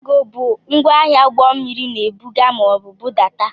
Kago bụ ngwaahịa ụgbọmmiri na-ebuga maọbụ budata.